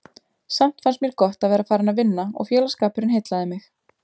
Samt fannst mér gott að vera farin að vinna og félagsskapurinn heillaði mig.